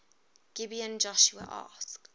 gibeon joshua asked